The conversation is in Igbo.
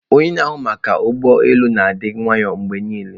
Onye na-ahụ maka ụgbọ elu na-adi nwayo mgbe niile.